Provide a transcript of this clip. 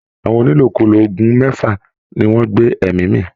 Àwọn onílòkulò oògùn mẹ́fà ni wọ́n gbé ẹ̀mí mì